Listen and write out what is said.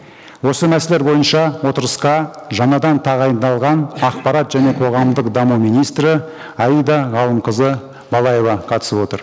осы мәселелер бойынша отырысқа жаңадан тағайындалған ақпарат және қоғамдық даму министрі аида ғалымқызы балаева қатысып отыр